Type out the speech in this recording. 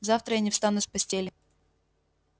завтра я не встану с постели